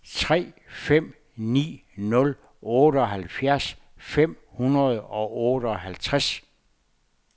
tre fem ni nul otteoghalvfjerds fem hundrede og otteoghalvtreds